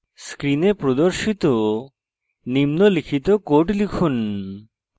screen প্রদর্শিত নিম্নলিখিত code লিখুন